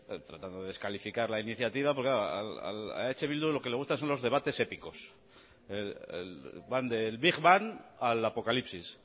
tratando de descalificar la iniciativa porque claro a eh bildu lo que le gusta son los debates épicos van del big bang al apocalipsis